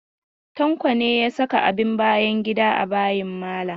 Tanko ne ya saka abin bayan gida a bayin malam?